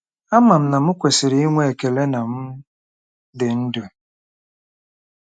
Ama m na m kwesịrị inwe ekele na m dị ndụ.